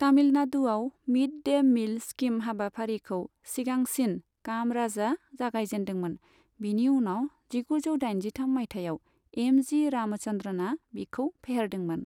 तमिलनाडुआव mid day meal scheme हाबाफारिखौ सिगांसिन कामराजआ जागाय जेनदोंमोन, बिनि उनाव जिगुजौ दाइनजिथाम मायथाइयाव एमजि रामचन्द्रनआ बिखौ फेहेरदोंमोन।